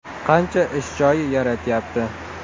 Qancha ish joyi yaratyapti?